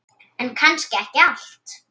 En kannski ekki allt.